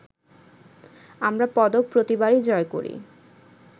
আমরা পদক প্রতিবারই জয় করি